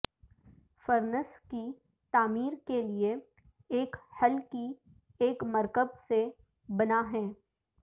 furnace کی تعمیر کے لئے ایک حل کی ایک مرکب سے بنا ہے